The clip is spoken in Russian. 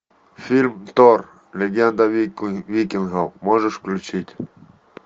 фильм тор легенда викингов можешь включить